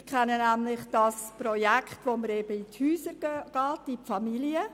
Ich kenne das Projekt mit den Hausbesuchen bei Familien.